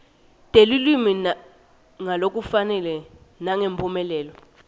telulwimi ngalokufanele nangemphumelelo